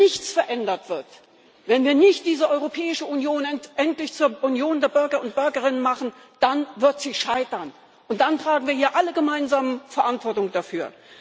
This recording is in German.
Wenn nichts verändert wird, wenn wir diese Europäische Union nicht endlich zur Union der Bürger und Bürgerinnen machen, dann wird sie scheitern, und dann tragen wir hier alle gemeinsam Verantwortung dafür!